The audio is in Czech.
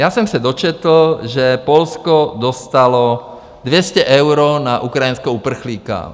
Já jsem se dočetl, že Polsko dostalo 200 euro na ukrajinského uprchlíka.